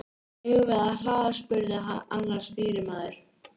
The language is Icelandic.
Eigum við að hlaða? spurði annar stýrimaður.